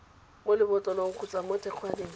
mo lebotlolong kgotsa mo thekgwaneng